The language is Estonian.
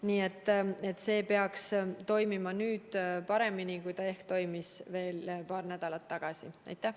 Nii et see peaks ehk toimima nüüd paremini, kui ta toimis veel paar nädalat tagasi.